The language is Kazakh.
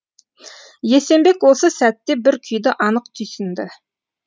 есенбек осы сәтте бір күйді анық түйсінді